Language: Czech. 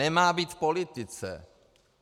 Nemá být v politice.